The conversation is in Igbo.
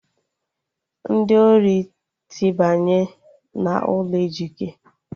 Ndị ori tibanye n'ụlọ Ejike